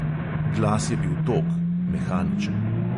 Glas je bil tog, mehaničen.